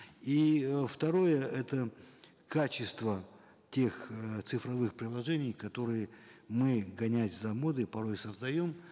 и э второе это качество тех э цифровых приложений которые мы гоняясь за модой порой создаем